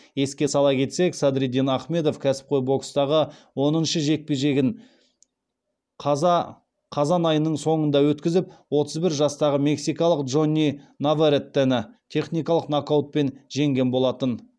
еске сала кетсек садриддин ахмедов кәсіпқой бокстағы оныншы жекпе жегін қазан айының соңында өткізіп отыз бір жастағы мексикалық джонни наварретені техникалық нокаутпен жеңген болатын